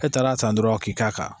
E taara san dɔrɔn k'i k'a kan